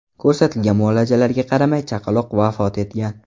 Ko‘rsatilgan muolajalarga qaramay, chaqaloq vafot etgan.